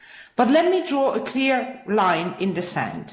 But let me draw a clear line in the sand.